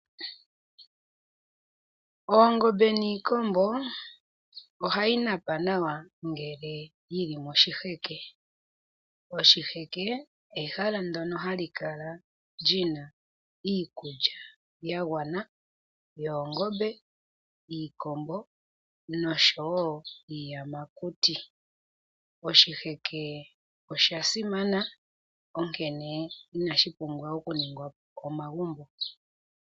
Oongombe niikombo ohadhi napa nawa lela ngele dhili moshiheke. Oshiheke ehala ndoka hali kala lina iikulya yagwana yoongombe, iikombo noshowo iiyamakuti. Oshiheke osha simana onkene inashi pumbwa okuningwa omagumbo.